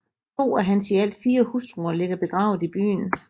To af hans i alt fire hustruer ligger begravet i byen